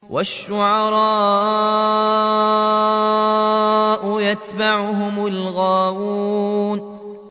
وَالشُّعَرَاءُ يَتَّبِعُهُمُ الْغَاوُونَ